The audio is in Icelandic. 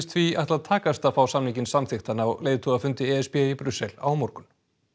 því ætla að takast að fá samninginn samþykktan á leiðtogafundi e s b í Brussel á morgun